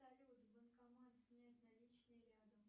салют банкомат снять наличные рядом